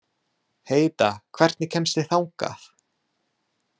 Heida, hvernig kemst ég þangað?